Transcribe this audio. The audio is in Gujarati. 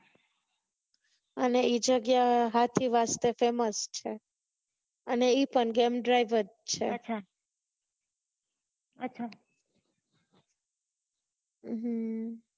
અને ઈ જગ્યા હાથી વાસ્તે famous છે અને ઈ પણ જેમ ડ્રીવ જ છે હમ